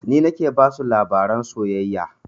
Ni nake basu labaran soyayya